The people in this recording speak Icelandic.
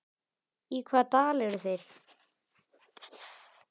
Í hvaða dal eru þeir?